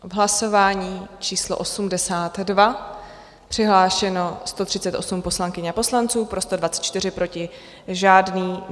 V hlasování číslo 82 přihlášeno 138 poslankyň a poslanců, pro 124, proti žádný.